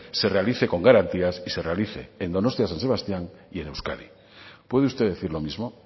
se realice con garantías y se realice en donostia san sebastián y en euskadi puede usted decir lo mismo